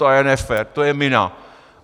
To je nefér, to je mina.